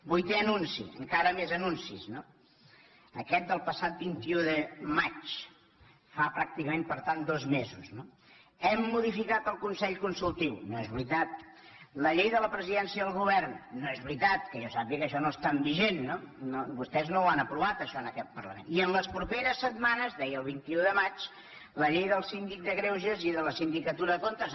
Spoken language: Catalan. vuitè anunci encara més anuncis no aquest del passat vint un de maig fa pràcticament per tant dos mesos hem modificat el consell consultiu no és veritat la llei de la presidència i del govern no és veritat que jo sàpiga això no està vigent vostès no ho han aprovat això en aquest parlament i en les properes setmanes deia el vint un de maig la llei del síndic de greuges i de la sindicatura de comptes